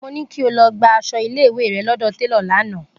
Mo ní kí o lọ gba aṣọ ilé ìwé rẹ lọ́dọ̀ télọ̀ lánàá!